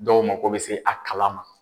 Dɔw mako be se a kala ma.